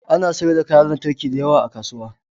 Ana sayar da kayan lantarki da yawa a kasuwa